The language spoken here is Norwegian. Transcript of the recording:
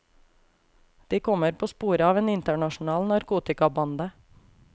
De kommer på sporet av en internasjonal narkotikabande.